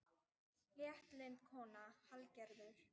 Léttlynd kona, Hallgerður.